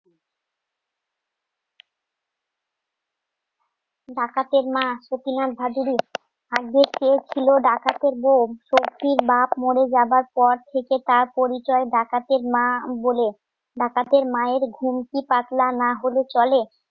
ডাকাতের মা সতীনাথ ভাদুড়ী আজকে কে ছিল ডাকাতের বউ শক্তির বাপ মরে যাওয়ার পর থেকে তার পরিচয় ডাকাতের মা বলে. ডাকাতের মায়ের ঘুম কি পাতলা না হলে চলে